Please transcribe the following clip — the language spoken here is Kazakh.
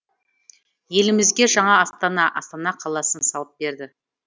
елімізге жаңа астана астана қаласын салып берді